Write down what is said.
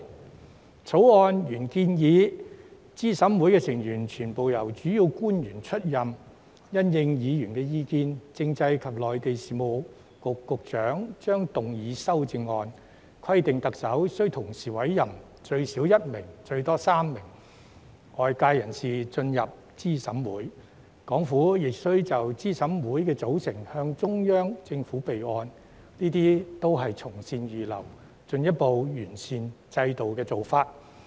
《條例草案》原來建議資審會成員全部由主要官員出任，因應議員意見，政制及內地事務局局長將動議修正案，規定特首須同時委任最少1名和最多3名外界人士進入資審會，港府亦須就資審會的組成向中央政府備案，這些也是從善如流，進一步完善制度的做法。